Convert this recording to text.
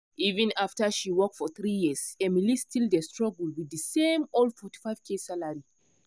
even after she work for 3 years emily still dey struggle with the same old 45k salary.